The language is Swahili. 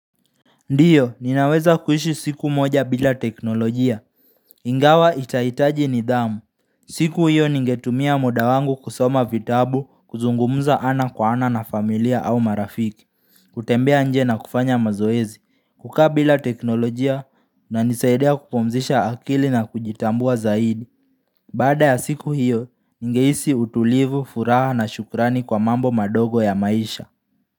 Ndiyo, ninaweza kuishi siku moja bila teknolojia, ingawa itahitaji nidhamu, siku hiyo ningetumia muda wangu kusoma vitabu kuzungumza ana kwa ana na familia au marafiki, kutembea nje na kufanya mazoezi, kukaa bila teknolojia inanisaidia kupumzisha akili na kujitambua zaidi, baada ya siku hiyo, ningehisi utulivu, furaha na shukrani kwa mambo madogo ya maisha.